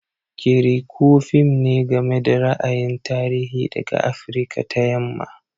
Kirikou fim ne game da ra'ayin tarihi daga Afirka ta Yamma.